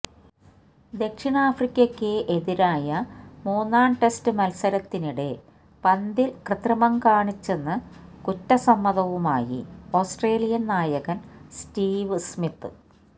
ദക്ഷിണാഫ്രിക്കയ്ക്ക് എതിരായ മൂന്നാം ടെസ്റ്റ് മത്സരത്തിനിടെ പന്തില് കൃത്രിമം കാണിച്ചെന്ന് കുറ്റ സമ്മതവുമായി ഓസ്ട്രേലിയന് നായകന് സ്റ്റീവ് സ്മിത്ത്